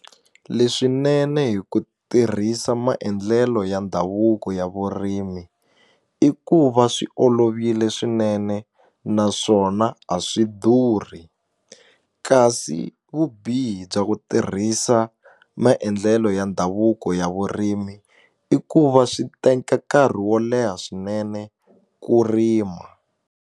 Leswinene hi ku tirhisa maendlelo ya ndhavuko ya vurimi i ku va swi olovile swinene naswona a swi durhi kasi vubihi bya ku tirhisa maendlelo ya ndhavuko ya vurimi i ku va swi teka nkarhi wo leha swinene ku rima.